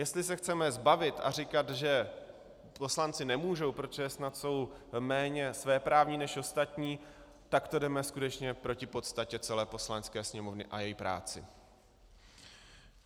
Jestli se chceme zbavit a říkat, že poslanci nemůžou, protože snad jsou méně svéprávní než ostatní, tak to jdeme skutečně proti podstatě celé Poslanecké sněmovny a její práci.